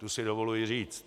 To si dovoluji říct.